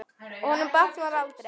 Honum batnar aldrei.